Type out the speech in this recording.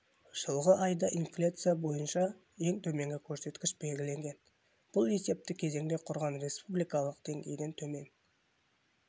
жылғы айда инфляция бойынша ең төменгі көрсеткіш белгіленген бұл есепті кезеңде құраған республикалық деңгейден төмен